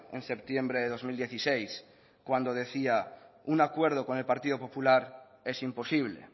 en septiembre de dos mil dieciséis cuando decía que un acuerdo con el partido popular es imposible